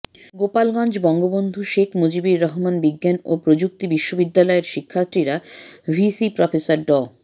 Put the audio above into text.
গোপালগঞ্জ বঙ্গবন্ধু শেখ মুজিবুর রহমান বিজ্ঞান ও প্রযুক্তি বিশ্ববিদ্যালয়ের শিক্ষার্থীরা ভিসি প্রফেসর ড